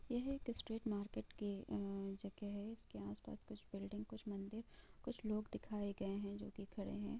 यह एक straight market के अ जगह हैं इसके आस पास कुछ बिल्डिंग कुछ मंदिर कुछ लोग दिखाए गए हैं जो कि खड़े हैं।